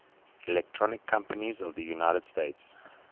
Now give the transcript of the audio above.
electronics companies of the united states